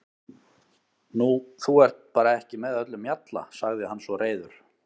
Nú, þú ert bara ekki með öllum mjalla, sagði hann svo reiður.